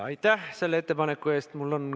Aitäh selle ettepaneku eest!